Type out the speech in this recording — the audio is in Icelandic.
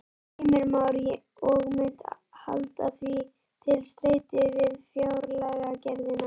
Heimir Már: Og munt halda því til streitu við fjárlagagerðina?